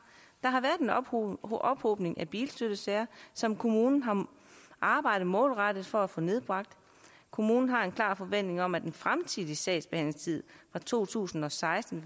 der har været en ophobning ophobning af bilstøttesager som kommunen har arbejdet målrettet for at få nedbragt kommunen har en klar forventning om at den fremtidige sagsbehandlingstid fra to tusind og seksten